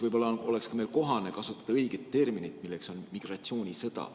Võib-olla oleks meil kohane kasutada õiget terminit, milleks on "migratsioonisõda".